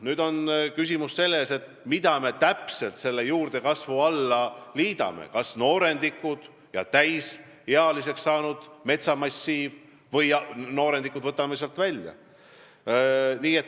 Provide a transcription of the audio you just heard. Nüüd on küsimus selles, mida me selle juurdekasvu alla täpselt liidame, kas noorendikud ja täisealiseks saanud metsamassiivi või võtame noorendikud sealt välja.